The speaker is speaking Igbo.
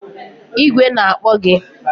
Igwe na-akpọ gị!